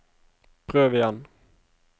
prøv igjen